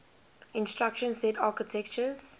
instruction set architectures